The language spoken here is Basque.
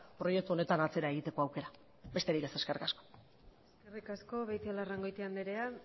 proiektu honetan atzera egiteko aukera besterik ez eskerrik asko eskerrik asko beitialarrangoitia andrea